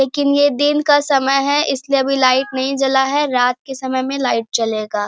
लेकिन ये दिन का समय है इसलिए अभी लाइट नहीं जला है रात के समय में लाइट जलेगा।